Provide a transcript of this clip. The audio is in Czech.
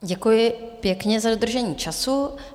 Děkuji pěkně za dodržení času.